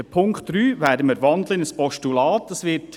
Den Punkt 3 werden wir in ein Postulat wandeln.